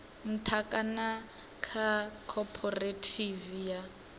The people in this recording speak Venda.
nṱha kana kha khophorethivi ya